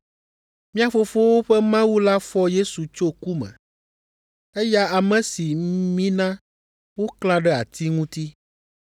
Mía fofowo ƒe Mawu la fɔ Yesu tso ku me, eya ame si mina woklã ɖe ati ŋuti.